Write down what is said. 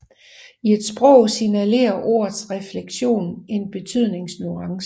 I et sprog signalerer ordets flektion en betydningsnuance